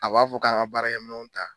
A b'a fɔ k'an ka baarakɛ minan ta